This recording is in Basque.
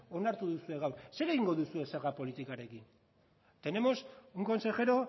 onartu duzue gaur zer egingo duzue zerga politikarekin tenemos un consejero